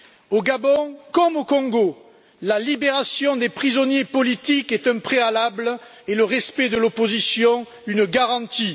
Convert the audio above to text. Au Gabon comme au Congo, la libération des prisonniers politiques est un préalable, et le respect de l'opposition une garantie.